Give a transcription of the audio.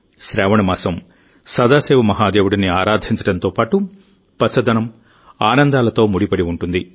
శ్రావణ మాసం సదాశివ మహాదేవుడిని ఆరాధించడంతో పాటుపచ్చదనం ఆనందాలతో ముడిపడి ఉంటుంది